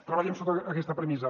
treballem sota aquesta premissa